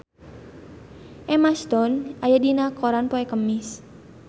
Emma Stone aya dina koran poe Kemis